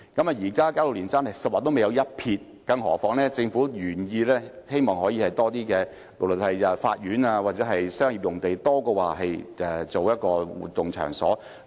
現時加路連山用地是"十劃未有一撇"，更何況政府的原意是把用地作法院或商業用途，多於用作活動場所。